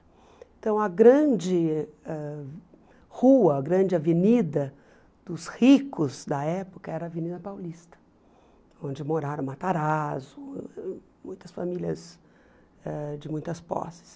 Então, a grande ãh rua, a grande avenida dos ricos da época era a Avenida Paulista, onde moraram Matarazzo, muitas famílias ãh de muitas posses.